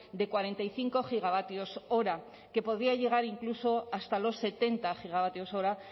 de cuarenta y cinco gigavatios hora que podría llegar incluso hasta los setenta gigavatios hora